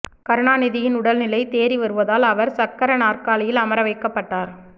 கருணாநிதியின் உடல்நிலை தேறி வருவதால் அவர் சக்கர நாற்காலியில் அமர வைக்கப்பட்டார்